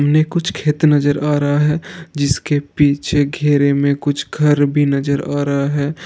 सामने कुछ खेत नजर आ रहा है जिसके पीछे घेरे में कुछ घर भी नजर आ रहा है।